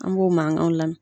An b'o mankanw lamɛn.